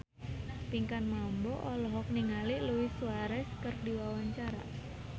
Pinkan Mambo olohok ningali Luis Suarez keur diwawancara